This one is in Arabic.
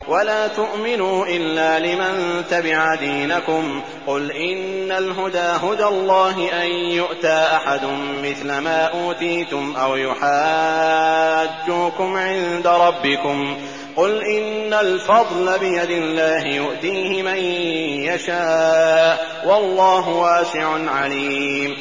وَلَا تُؤْمِنُوا إِلَّا لِمَن تَبِعَ دِينَكُمْ قُلْ إِنَّ الْهُدَىٰ هُدَى اللَّهِ أَن يُؤْتَىٰ أَحَدٌ مِّثْلَ مَا أُوتِيتُمْ أَوْ يُحَاجُّوكُمْ عِندَ رَبِّكُمْ ۗ قُلْ إِنَّ الْفَضْلَ بِيَدِ اللَّهِ يُؤْتِيهِ مَن يَشَاءُ ۗ وَاللَّهُ وَاسِعٌ عَلِيمٌ